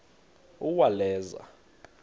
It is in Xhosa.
uwaleza